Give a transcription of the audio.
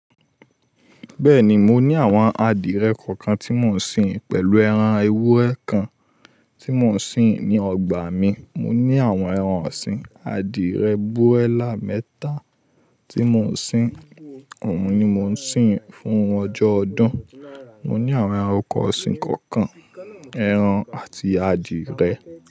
Bẹ́ẹ̀ni, mo ní àwọn adìẹ kọ̀ọ̀kan tí mò ń sin pẹ̀lú ẹran ewúrẹ́ kan tí mò ń sin ní ọgbà mi. Mò ní àwọn ẹran ọ̀sìn, adìẹ búrẹ́là mẹ́ta tí mò ń sin, òun ni mò ń sin fún ọjọ́ ọdún. Mò ní àwọn ẹranko ọ̀sìn kọ̀ọ̀kan, ẹran àti adìẹ.